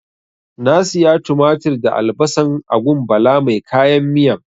Na siya tumatir da albasan a gun Bala mai kayan miyan.